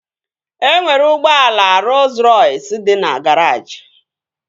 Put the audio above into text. E nwere ụgbọala Rooz Rọys dị na garaajị